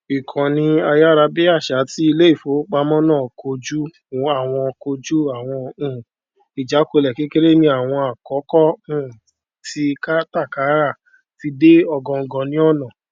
ìkànnì ayárabíàṣá ti ilé ìfowópamọ náà kojú àwọn kojú àwọn um ìjákulẹ kékeré ní àwọn àkókò um tí kátàkárà ti dé ògóngó ní àná